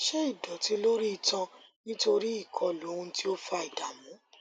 ṣé ìdọtí lórí itan nítorí ìkọlù ohun tí ó fa ìdààmú